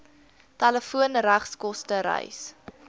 telefoon regskoste reis